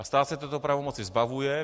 A stát se této pravomoci zbavuje.